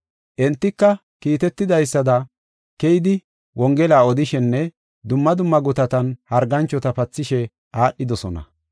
Entika kiitetidaysada keyidi wongela odishenne dumma dumma gutatan harganchota pathishe aadhidosona.